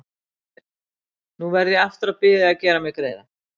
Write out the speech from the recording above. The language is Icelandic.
Heyrðu. nú verð ég aftur að biðja þig að gera mér greiða!